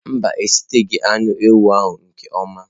Mba, a eshiteghi anụ ewu ahụ nke ọma.